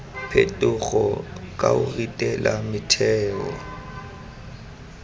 phetogo ka o ritela metheo